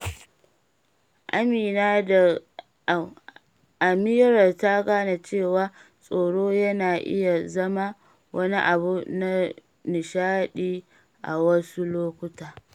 Amira ta gane cewa tsoro yana iya zama wani abu na nishaɗi a wasu lokuta.